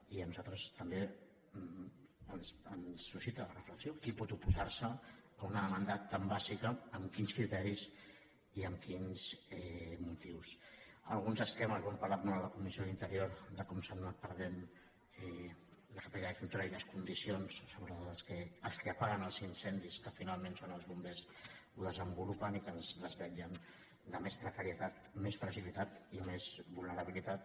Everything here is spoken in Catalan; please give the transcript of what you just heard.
i a nosaltres també ens suscita la reflexió qui pot oposar se a una demanda tan bàsica amb quins criteris i amb quins motius alguns esquemes ho hem parlat molt a la comissió d’interior de com s’han anat perdent la capacitat extintora i les condicions sobre els que apaguen els incendis que finalment són els bombers ho desenvolupen i que ens desvetllen de més precarietat més fragilitat i més vulnerabilitat